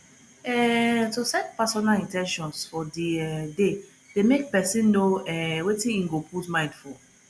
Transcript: um to set personal in ten tions for di um day de make persin know um wetin im go put mind for